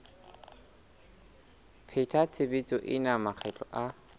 pheta tshebetso ena makgetlo a